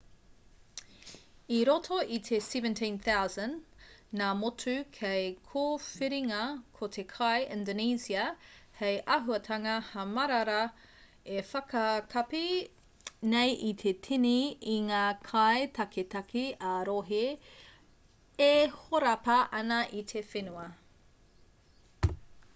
i roto i te 17,000 ngā motu hei kōwhiringa ko te kai indonesia hei āhuatanga hamarara e whakakapi nei i te tini i ngā kai taketake ā-rohe e horapa ana i te whenua